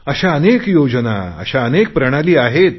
अशा अनेक योजना प्रणाली आहे